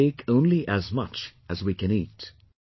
We should take only as much as we can eat